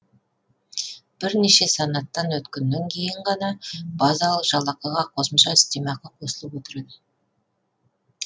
бірнеше санаттан өткеннен кейін ғана базалық жалақыға қосымша үстемақы қосылып отырады